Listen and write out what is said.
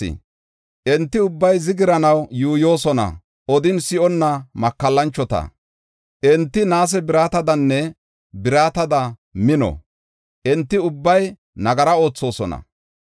Enti ubbay zigiranaw yuuyosona; odin si7onna makallanchota. Enti naase biratadanne biratada mino; enti ubbay nagara oothosona.